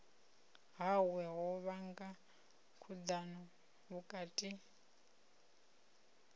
hawe ho vhanga khudano vhukati